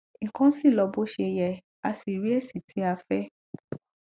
nkan si lo bo se ye a si ri esi ti a fe